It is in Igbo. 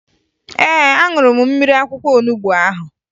Ee, aṅụrụ m mmiri akwụkwọ olubo ahụ